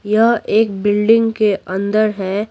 यह एक बिल्डिंग के अंदर है।